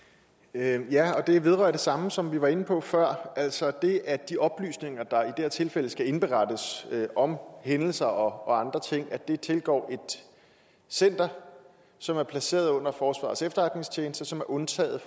ja og det vedrører det samme som jeg var inde på før altså det at de oplysninger der i her tilfælde skal indberettes om hændelser og andre ting tilgår et center som er placeret under forsvarets efterretningstjeneste som er undtaget